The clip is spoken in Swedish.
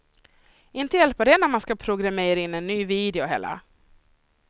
Inte hjälper det när man ska programmera in en ny video heller.